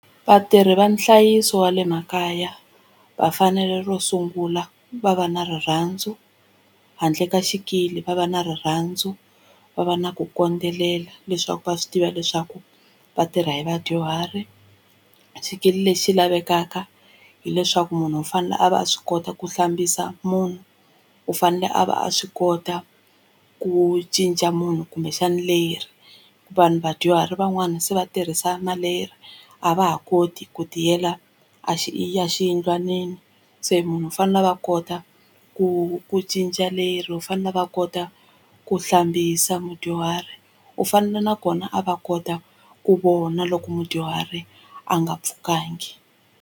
Vatirhi va nhlayiso wa le makaya va fanele ro sungula va va na rirhandzu handle ka xikili va va na rirhandzu va va na ku kondzelela leswaku va swi tiva leswaku vatirha hi vadyuhari xikili lexi lavekaka hileswaku munhu u fanele a va swi kota ku hlambisa munhu u fanele a va a swi kota ku cinca munhu kumbexana leri vanhu vadyuhari van'wani se va tirhisa na leri a va ha koti ku tiyela a xi exiyindlwanini se munhu u fanele a va kota ku ku cinca leri u fanele a va kota ku hlambisa mudyuhari u fanele nakona a va kota ku vona loko mudyuhari a nga pfukangi.